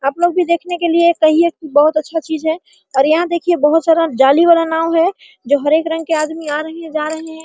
आप लोग भी देखने के लिए कहिये की बहुत अच्छा चीज है और यहाँ देखिये बहुत सारा जाली वाला नाव है जो हर एक रंग के आदमी आ रहें हैं जा रहें हैं।